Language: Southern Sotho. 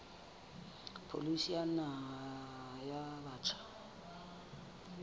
pholisi ya naha ya batjha